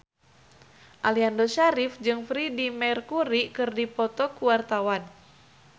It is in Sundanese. Aliando Syarif jeung Freedie Mercury keur dipoto ku wartawan